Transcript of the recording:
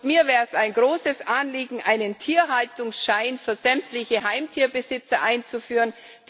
Mir wäre es ein großes Anliegen, einen Tierhaltungsschein für sämtliche Heimtierbesitzer einzuführen.